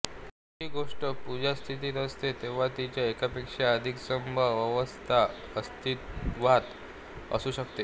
कोणतीही गोष्ट पुंजस्थितीत असते तेंव्हा तिच्या एकापेक्षा अधिक संभाव्य अवस्था अस्तिवात असू शकतात